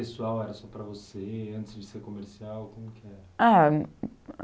Era pessoal, era só para você, antes de ser comercial, como que era? Ah